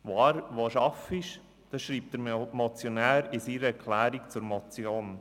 » Das schreibt der Motionär in seiner Erklärung zur Motion.